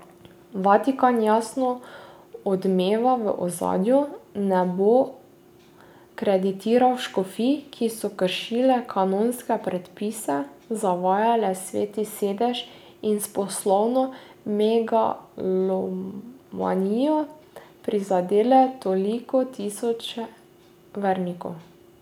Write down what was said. Vatikan, jasno odmeva v ozadju, ne bo kreditiral škofij, ki so kršile kanonske predpise, zavajale Sveti sedež in s poslovno megalomanijo prizadele toliko tisočev vernikov.